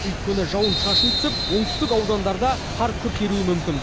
өйткені жауын шашын түсіп оңтүстік аудандарда қар күрт еруі мүмкін